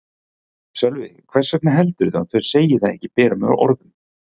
Sölvi: Hvers vegna heldurðu að þau segi það ekki berum orðum?